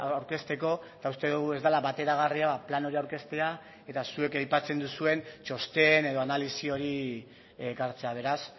aurkezteko eta uste dugu ez dela bateragarria plan hori aurkeztea eta zuek aipatzen duzuen txosten edo analisi hori ekartzea beraz